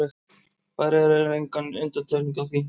Færeyjar eru engin undantekning á því.